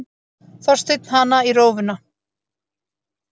Þorsteinn hana í rófuna.